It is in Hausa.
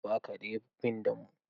Ba karen bin damo.